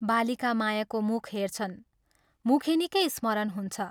बालिका मायाको मुख हेर्छन्, मुखेनीकै स्मरण हुन्छ।